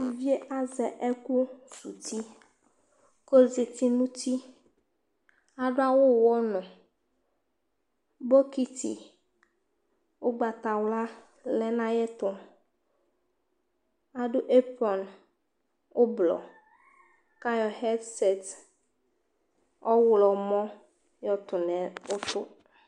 Uvi yɛ azɛ ɛkʋsuwu uti kʋ ɔzati nʋ uti Adʋ awʋ ʋɣɔnʋ Bɔkɩtɩ ʋgbatawla lɛ nʋ ayɛtʋ Adʋ ɛrpan ʋblɔ kʋ ayɔ ɣɛdsɛt ɔɣlɔmɔ yɔtʋ nʋ ʋtʋ